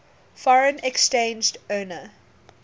foreign exchange earner